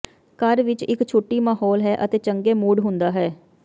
ਘਰ ਵਿੱਚ ਇੱਕ ਛੁੱਟੀ ਮਾਹੌਲ ਹੈ ਅਤੇ ਚੰਗੇ ਮੂਡ ਹੁੰਦਾ ਹੈ